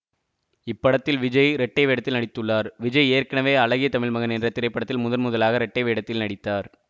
இப்படத்தில் விஜய் இரட்டை வேடத்தில் நடித்துள்ளார் விஜய் ஏற்கனவே அழகிய தமிழ்மகன் என்ற திரைப்படத்தில் முதன்முதலாக இரட்டை வேடத்தில் நடித்தார்